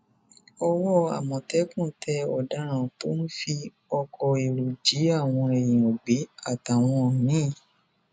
owó àmọtẹkùn tẹ ọdaràn tó ń fi ọkọ èrò jí àwọn èèyàn gbé àtàwọn mi